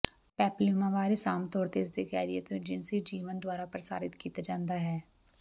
papillomavirus ਆਮ ਤੌਰ ਤੇ ਇਸਦੇ ਕੈਰੀਅਰ ਤੋਂ ਜਿਨਸੀ ਜੀਵਨ ਦੁਆਰਾ ਪ੍ਰਸਾਰਿਤ ਕੀਤਾ ਜਾਂਦਾ ਹੈ